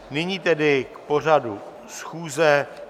Nyní tedy k pořadu schůze.